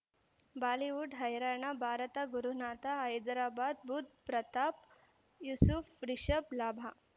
Bollywood ಹೈರಾಣ ಭಾರತ ಗುರುನಾಥ ಹೈದರಾಬಾದ್ ಬುಧ್ ಪ್ರತಾಪ್ ಯೂಸುಫ್ ರಿಷಬ್ ಲಾಭ